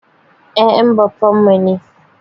Ya'yan baffan mu ne.